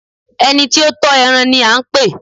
ẹni tí ó ń tọ́ ẹran ni a pè?